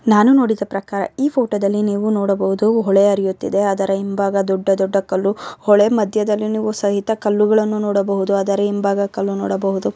ನಾನು ನೋಡಿದ ಪ್ರಕಾರ ಈ ಫೋಟೋದಲ್ಲಿ ನೀವು ನೋಡಬಹುದು ಹೊಳೆ ಹರಿಯುತ್ತಿದ್ದೆ ಅದರ ಹಿಂಭಾಗ ದೊಡ್ಡ ದೊಡ್ಡ ಕಲ್ಲು ಹೊಳೆ ಮದಾಯದಲ್ಲಿ ನೀವು ಸಹಿತ ಕಲ್ಲುಗಳನ್ನು ನೋಡಬಹುದು ಅದರ ಹಿಂಭಾಗ ಕಲ್ಲು ನೋಡಬಹುದು.